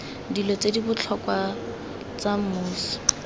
dilo ste dibotlhokwa sta mmuso